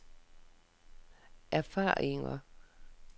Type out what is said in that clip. erfaringer